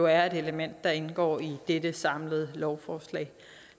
er et element der indgår i det samlede lovforslag